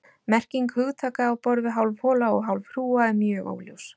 Merking hugtaka á borð við hálf hola og hálf hrúga er mjög óljós.